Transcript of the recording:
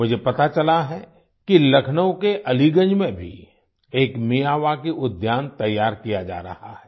मुझे पता चला है कि लखनऊ के अलीगंज में भी एक मियावाकी उद्यान तैयार किया जा रहा है